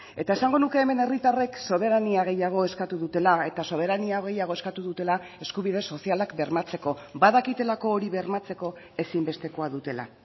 eta esango nuke hemen herritarrek soberania gehiago eskatu dutela eta soberania gehiago eskatu dutela eskubide sozialak bermatzeko badakitelako hori bermatzeko ezinbestekoa dutela